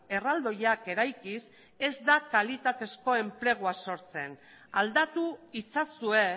erraldoiak eraikiz ez da kalitatezko enplegua sortzen aldatu itzazue